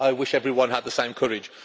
I wish everyone had the same courage.